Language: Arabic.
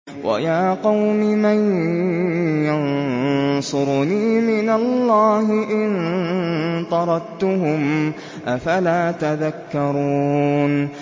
وَيَا قَوْمِ مَن يَنصُرُنِي مِنَ اللَّهِ إِن طَرَدتُّهُمْ ۚ أَفَلَا تَذَكَّرُونَ